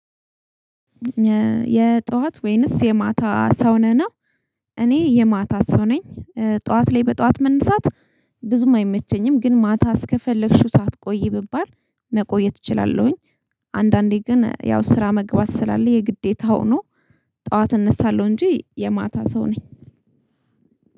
የጧት ወይንስ የማታ ሰው ነህ ነው። እኔ የማታ ሰው ነኝ ጧት ላይ በጠዋት መነሳት ብዙም አይመቸኝም ግን ማታ እስከፈለግሽው ቆዪ ብባል መቆየት እችላለሁኝ አንዳንዴ ግን ያው ስራ መግባት ስላለ የግዴታ ሆኖ ጠዋት እነሳለሁ እንጂ የማታ ሰው ነኝ